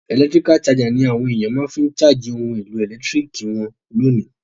Electrical charger ni àwon èyàn ma fi n charge oun èlò ẹ̀lẹ́ntiriki won lónìí